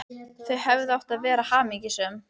Þau hefðu átt að vera hamingjusöm.